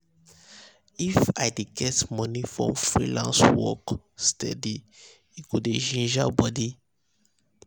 if i dey get money from freelance work steady e go dey um ginger body